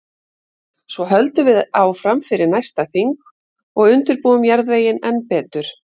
Svo höldum við áfram fyrir næsta þing og undirbúum jarðveginn enn betur.